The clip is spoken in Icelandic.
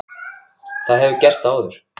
Það hefur gerst áður.